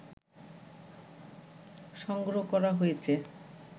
সংগ্রহ করা হয়েছে